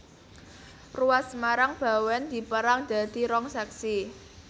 Ruas Semarang Bawèn dipérang dadi rong sèksi